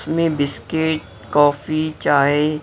में biscuit coffee चाय --